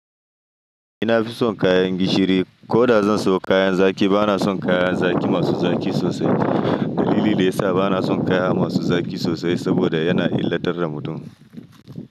Ni na fi son kayan gishiri. Ko da zan siyo kayan zaƙi, bana son kayan zaƙi masu zaƙi sosai. Dalili da ya sa bana son kayan masu zaƙi sosai saboda yana illatar da mutum.